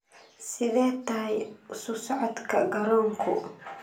sidee tahay isu socodka garoonku